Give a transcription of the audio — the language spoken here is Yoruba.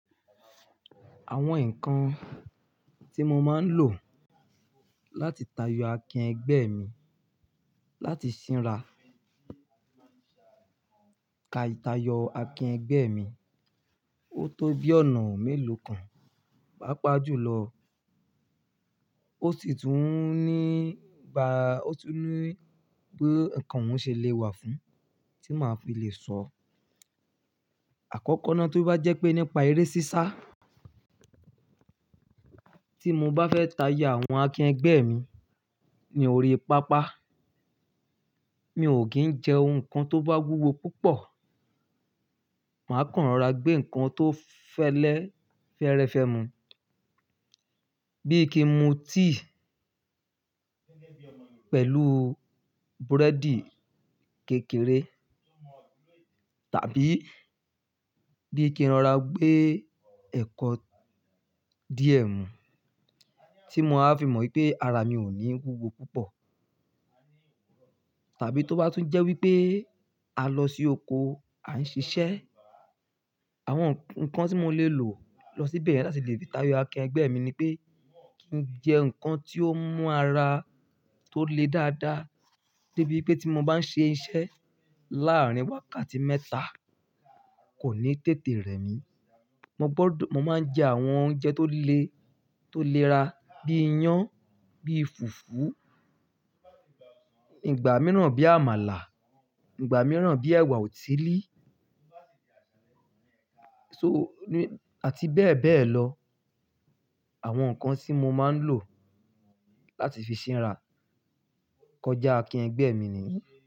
Àwọn nǹkan tí mo máa ń lò láti tayọ akín ẹgbẹ́ mi, láti ṣínra ka ìtayọ akín ẹgbẹ́ mi, ó tó bí ọ̀nà mélòó kan, pá pàjùlọ ó sì tún ní ba-- ó sì tún ní pé nǹkan òun ṣe lè wà fún tí màá fi lè sọ. Àkọ́kọ́ náà tó bá jẹ́ pé nípa eré sísá tí mo bá fẹ́ tayọ àwọn akín ẹgbẹ́ mi, ni oore-pápá, mi ò kì í jẹ ohun kan tó bá wúwo púpọ̀. Màá kàn rọra gbé nǹkan tó fẹ́lẹ́, fẹ́rẹ́ fẹ́ mu, bí i kí n mu tíì pẹ̀lú búrẹ́dì kékeré, tàbí bí i kí n rọra gbé ẹ̀kọ di ẹmu, tí mo á fi mọ̀ pé ara mi ò ní wúwo púpọ̀. Tàbí tó bá tún jẹ́ wípé a lọ sí oko, à ń ṣiṣẹ́, àwọn nǹkan tí mo lè lò lọ síbẹ̀ láti lè fi tayọ akín ẹgbẹ́ mi ni pé kí n jẹ nǹkan tí ó mú ara tó le dáadáa, débi wípé tí mo bá ń ṣe iṣẹ́ láàárín wákàtí mẹ́ta, kò ní tètè rẹ̀ mí. Mo gbọ́dọ̀-- mo máa ń jẹ àwọn oúnjẹ tó le, tó lera bí i iyán, bí i fùfú, ìgbà mìíràn bí i àmàlà, ìgbà mìíràn bí i ẹ̀wà òtílí, so ní-- àti bẹ́ẹ̀ bẹ́ẹ̀ lọ. Àwọn nǹkan tí mo máa ń lò láti fi ṣínra kọjá akín ẹgbẹ́ mi nìyí.